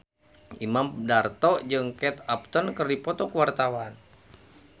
Imam Darto jeung Kate Upton keur dipoto ku wartawan